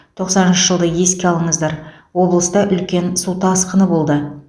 тоқсаныншы жылды еске алыңыздар облыста үлкен су тасқыны болды